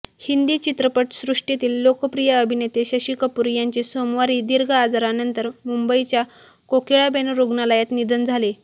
हिंदी चित्रपटसृष्टीतील लोकप्रिय अभिनेते शशिकपूर यांचे सोमवारी दीर्घ आजारानंतर मुंबईच्या कोकीळाबेन रूग्णालयात निधन झाले